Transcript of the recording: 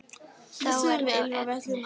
Það er þá Agnes!